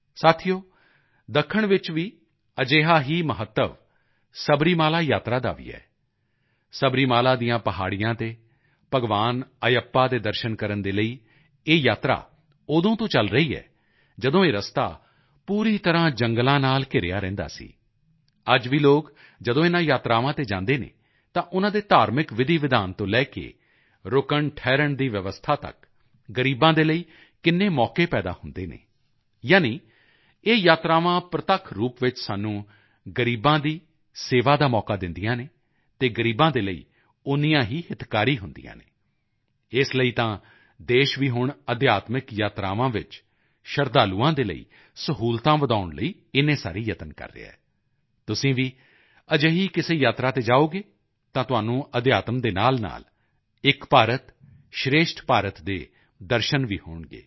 ਸਾਥੀਓ ਦੱਖਣ ਵਿੱਚ ਅਜਿਹਾ ਹੀ ਮਹੱਤਵ ਸਬਰੀਮਾਲਾ ਯਾਤਰਾ ਦਾ ਵੀ ਹੈ ਸਬਰੀਮਾਲਾ ਦੀਆਂ ਪਹਾੜੀਆਂ ਤੇ ਭਗਵਾਨ ਅਯੱਪਾ ਦੇ ਦਰਸ਼ਨ ਕਰਨ ਦੇ ਲਈ ਇਹ ਯਾਤਰਾ ਉਦੋਂ ਤੋਂ ਚਲ ਰਹੀ ਹੈ ਜਦੋਂ ਇਹ ਰਸਤਾ ਪੂਰੀ ਤਰ੍ਹਾਂ ਜੰਗਲਾਂ ਨਾਲ ਘਿਰਿਆ ਰਹਿੰਦਾ ਸੀ ਅੱਜ ਵੀ ਲੋਕ ਜਦੋਂ ਇਨ੍ਹਾਂ ਯਾਤਰਾਵਾਂ ਤੇ ਜਾਂਦੇ ਹਨ ਤਾਂ ਉਨ੍ਹਾਂ ਦੇ ਧਾਰਮਿਕ ਵਿਧੀਵਿਧਾਨ ਤੋਂ ਲੈ ਕੇ ਰੁਕਣਠਹਿਰਣ ਦੀ ਵਿਵਸਥਾ ਤੱਕ ਗ਼ਰੀਬਾਂ ਦੇ ਲਈ ਕਿੰਨੇ ਮੌਕੇ ਪੈਦਾ ਹੁੰਦੇ ਹਨ ਯਾਨੀ ਇਹ ਯਾਤਰਾਵਾਂ ਪ੍ਰਤੱਖ ਰੂਪ ਵਿੱਚ ਸਾਨੂੰ ਗ਼ਰੀਬਾਂ ਦੀ ਸੇਵਾ ਦਾ ਮੌਕਾ ਦਿੰਦੀਆਂ ਹਨ ਅਤੇ ਗ਼ਰੀਬ ਦੇ ਲਈ ਓਨੀਆਂ ਹੀ ਹਿਤਕਾਰੀ ਹੁੰਦੀਆਂ ਹਨ ਇਸ ਲਈ ਤਾਂ ਦੇਸ਼ ਵੀ ਹੁਣ ਅਧਿਆਤਮਿਕ ਯਾਤਰਾਵਾਂ ਵਿੱਚ ਸ਼ਰਧਾਲੂਆਂ ਦੇ ਲਈ ਸਹੂਲਤਾਂ ਵਧਾਉਣ ਲਈ ਇੰਨੇ ਸਾਰੇ ਯਤਨ ਕਰ ਰਿਹਾ ਹੈ ਤੁਸੀਂ ਵੀ ਅਜਿਹੀ ਕਿਸੇ ਯਾਤਰਾ ਤੇ ਜਾਓਗੇ ਤਾਂ ਤੁਹਾਨੂੰ ਅਧਿਆਤਮ ਦੇ ਨਾਲਨਾਲ ਏਕ ਭਾਰਤ ਸ਼੍ਰੇਸ਼ਠ ਭਾਰਤ ਦੇ ਦਰਸ਼ਨ ਵੀ ਹੋਣਗੇ